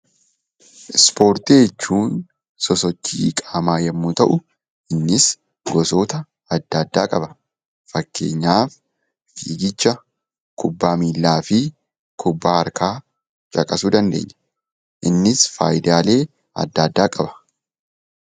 Ispoortii jechuun sosochii qaamaa yemmuu ta'u innis gosoota adda addaa qaba. Fakkeenyaaf fiigicha, kubbaa miillaa fi kubbaa harkaa caqasuu dandeenya. Innis faayidaalee adda addaa qaba.